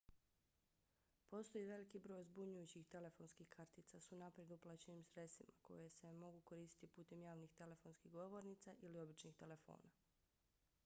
postoji veliki broj zbunjujućih telefonskih kartica s unaprijed uplaćenim sredstvima koje se mogu koristiti putem javnih telefonskih govornica ili običnih telefona